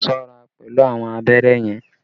Be careful with the needle!